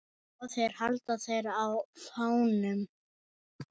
Báðir halda þeir á fánum.